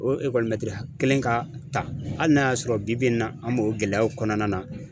O ekɔlimɛtiri hakɛ kelen ka ta hali n'a y'a sɔrɔ bibi in na, an b'o gɛlɛyaw kɔnɔna na.